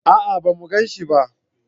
a'a ba mu ganshi ba